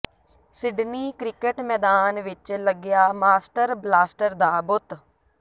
Sydney cricket ਮੈਦਾਨ ਵਿੱਚ ਲੱਗਿਆ ਮਾਸਟਰ ਬਲਾਸਟਰ ਦਾ ਬੁੱਤ